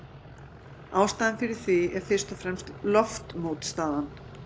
Ástæðan fyrir því er fyrst og fremst loftmótstaðan.